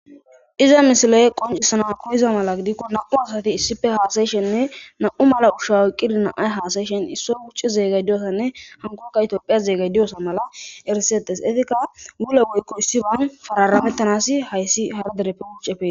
iza misiloye qoncissana qocisana mala gidikko na7u asati issife haasayishenne na7u mala ushawaqqidina7ay haasayishen issoy gucci zeegay diyosanne hankoka itophiya zeegay diyosa mala erisetes etika wule goykko issiban fararamettanasi hayssi hardereppe gucefe